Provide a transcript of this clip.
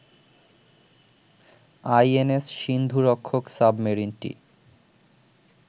INS Sindhurakshak সাবমেরিনটি